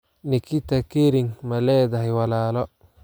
Nikita Kering ma leedahay walaalo?